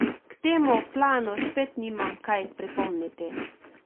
K temu planu spet nimam kaj pripomniti.